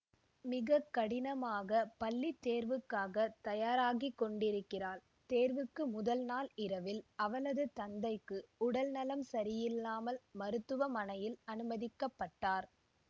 மிக கடினமாக பள்ளி தேர்வுக்காக தயாராகி கொண்டிருக்கிறாள் தேர்வுக்கு முதல் நாள் இரவில் அவளது தந்தைக்கு உடல் நலம் சரியில்லாமல் மருத்துவமனையில் அனுமதிக்கப்படுகிறார்